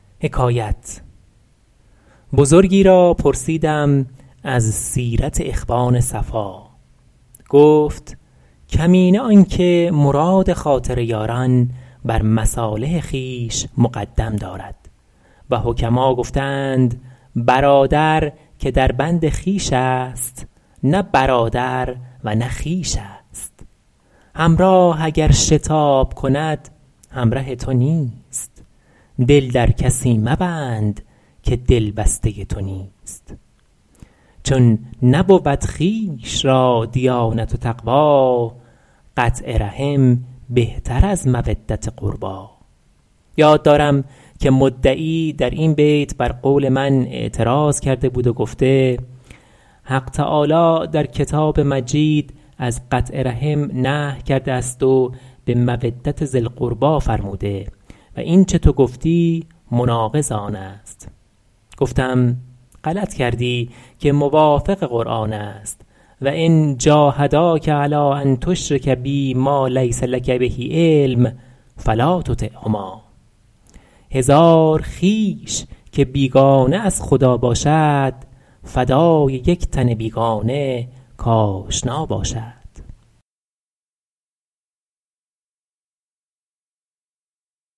بزرگی را پرسیدم از سیرت اخوان صفا گفت کمینه آن که مراد خاطر یاران بر مصالح خویش مقدم دارد و حکما گفته اند برادر که در بند خویش است نه برادر و نه خویش است همراه اگر شتاب کند همره تو نیست دل در کسی مبند که دل بسته تو نیست چون نبود خویش را دیانت و تقوی قطع رحم بهتر از مودت قربی یاد دارم که مدعی در این بیت بر قول من اعتراض کرده بود و گفته حق تعالی در کتاب مجید از قطع رحم نهی کرده است و به مودت ذی القربی فرموده و اینچه تو گفتی مناقض آن است گفتم غلط کردی که موافق قرآن است و ان جاهداک علی ان تشرک بی ما لیس لک به علم فلا تطعهما هزار خویش که بیگانه از خدا باشد فدای یک تن بیگانه کآشنا باشد